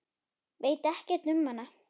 Veit ekkert um hana.